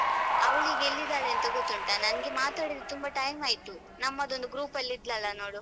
ಅವಳು ಈಗ ಎಲ್ಲಿದ್ದಾಳೆಂತ ಗೊತ್ತುಂಟಾ ನನ್ಗೆ ಮಾತಾಡಿದೆ ತುಂಬ time ಆಯ್ತು ನಮ್ಮದೊಂದು group ಅಲ್ಲಿ ಇದ್ಲಲ್ಲ ನೋಡು.